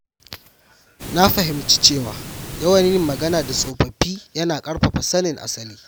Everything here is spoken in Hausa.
Na fahimci cewa yawan yin magana da tsofaffi yana ƙarfafa sanin asali.